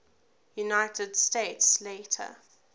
united states later